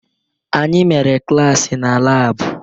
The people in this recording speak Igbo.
Anyị mere klaasị na laabụ